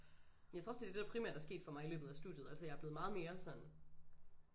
Men jeg tror også det det der primært er sket for mig i løbet af studiet altså jeg er blevet meget mere sådan